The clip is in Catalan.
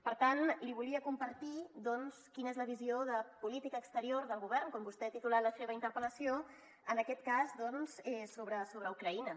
per tant li volia compartir doncs quina és la visió de política exterior del govern com vostè ha titulat en la seva interpel·lació en aquest cas sobre ucraïna